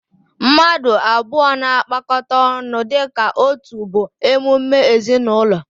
Mmadụ abụọ na-agbakọta ọnụ dịka otu bụ emume ezinụlọ